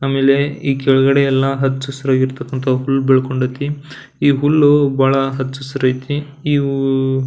ಆಮೇಲೆ ಈ ಕೆಳಗಡೆ ಎಲ್ಲ ಹಚ್ಚ ಹಸಿರು ಆಗಿರ್ತಕ್ಕಂತ ಹುಲ್ಲು ಬೆಳ್ಕೊಂಡೈತಿ. ಈ ಹುಲ್ಲು ಬಹಳ ಹಚ್ಚ ಹಸಿರೈತಿ. ಈ ವು --